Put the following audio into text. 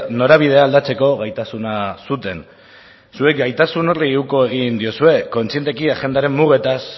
norabidea aldatzeko gaitasuna zuten zuek gaitasun horri uko egin diozue kontzienteki agendaren mugetaz